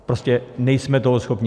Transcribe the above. Prostě nejsme toho schopni.